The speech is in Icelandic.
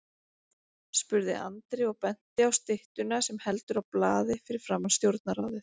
spurði Andri og benti á styttuna sem heldur á blaði fyrir framan Stjórnarráðið.